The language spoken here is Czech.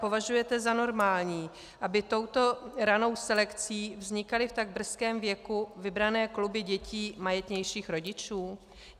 Považujete za normální, aby touto ranou selekcí vznikaly v tak brzkém věku vybrané kluby dětí majetnějších rodičů?